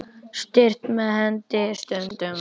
Stýrt með henni stundum var.